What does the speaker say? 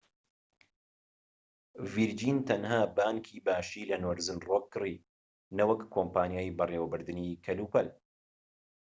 ڤیرجین تەنها بانكی باشی' لە نۆرزن ڕۆک کڕی نەوەک کۆمپانیای بەڕێوەبردنی کەلوپەل